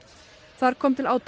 þar kom til átaka